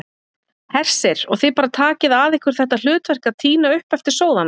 Hersir: Og þið bara takið að ykkur þetta hlutverk að tína upp eftir sóðana?